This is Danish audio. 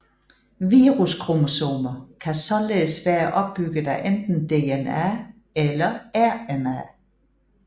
Viruskromosomer kan således være opbygget af enten DNA eller RNA